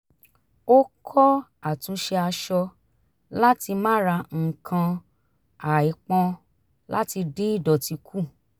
ó kọ́ àtúnṣe aṣọ láti má ra nǹkan àìpọn láti dín ìdọ̀tí kù